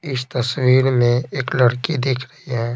इस तस्वीर में एक लड़की दिख रही है।